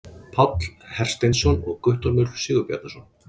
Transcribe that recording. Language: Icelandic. páll hersteinsson og guttormur sigbjarnarson